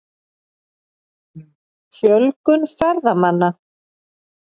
Fjölgun ferðamanna?